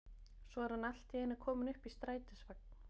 Svo er hann allt í einu kominn upp í strætisvagn.